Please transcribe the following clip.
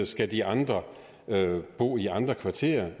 skal de andre bo i andre kvarterer